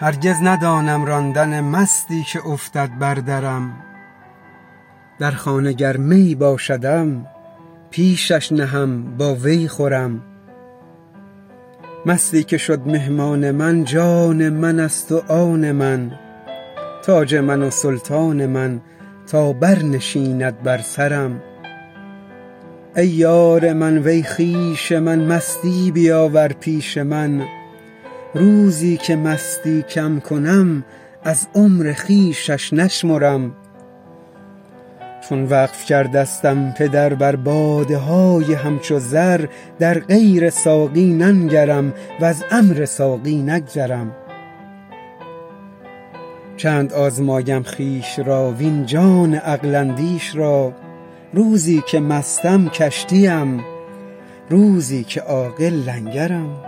هرگز ندانم راندن مستی که افتد بر درم در خانه گر می باشدم پیشش نهم با وی خورم مستی که شد مهمان من جان منست و آن من تاج من و سلطان من تا برنشیند بر سرم ای یار من وی خویش من مستی بیاور پیش من روزی که مستی کم کنم از عمر خویشش نشمرم چون وقف کردستم پدر بر باده های همچو زر در غیر ساقی ننگرم وز امر ساقی نگذرم چند آزمایم خویش را وین جان عقل اندیش را روزی که مستم کشتیم روزی که عاقل لنگرم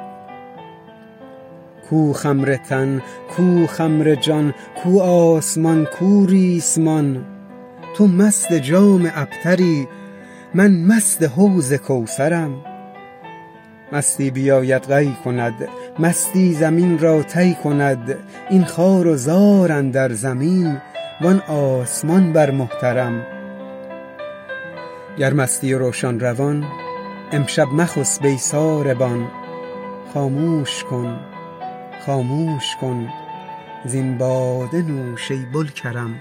کو خمر تن کو خمر جان کو آسمان کو ریسمان تو مست جام ابتری من مست حوض کوثرم مستی بیاید قی کند مستی زمین را طی کند این خوار و زار اندر زمین وان آسمان بر محترم گر مستی و روشن روان امشب مخسب ای ساربان خاموش کن خاموش کن زین باده نوش ای بوالکرم